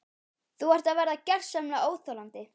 Þú ert að verða gersamlega óþolandi!